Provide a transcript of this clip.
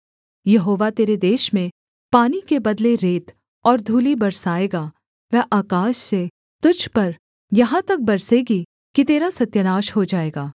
यहोवा तेरे देश में पानी के बदले रेत और धूलि बरसाएगा वह आकाश से तुझ पर यहाँ तक बरसेगी कि तेरा सत्यानाश हो जाएगा